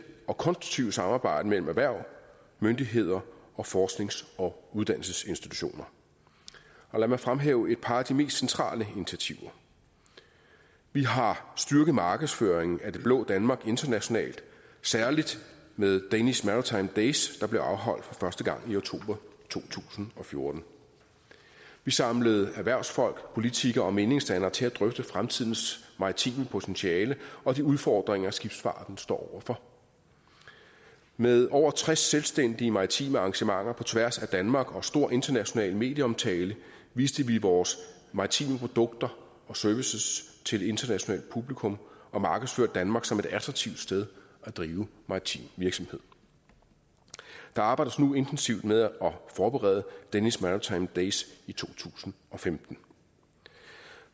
og konstruktive samarbejde mellem erhverv myndigheder og forsknings og uddannelsesinstitutioner lad mig fremhæve et par af de mest centrale initiativer vi har styrket markedsføringen af det blå danmark internationalt særlig med danish maritime days der blev afholdt for første gang i oktober to tusind og fjorten vi samlede erhvervsfolk politikere og meningsdannere til at drøfte fremtidens maritime potentiale og de udfordringer skibsfarten står for med over tres selvstændige maritime arrangementer på tværs af danmark og stor international medieomtale viste vi vores maritime produkter og services til et internationalt publikum og markedsførte danmark som et attraktivt sted at drive maritim virksomhed der arbejdes nu intensivt med at forberede danish maritime days i to tusind og femten